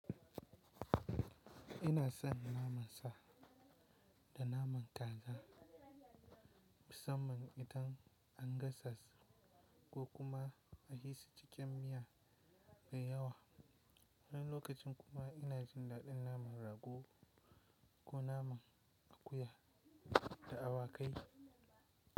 Ina son naman sa da naman kaza, musamman idan an gasa su ko kuma a yi su cikin miya mai yawa. Wani lokacin kuma ina jin daɗin naman rago ko naman akuya da awakai.